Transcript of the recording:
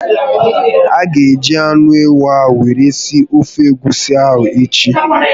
A ga eji anụ ewu ahụ were sie ofe egwusi ahụ echi